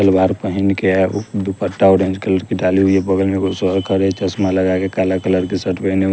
सलवार पहन के है उ दुपट्टा ऑरेंज कलर की डाली हुई है बगल में खड़े है चश्मा लगा के काला कलर के शर्ट पहने--